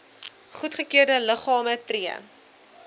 goedgekeurde liggame tree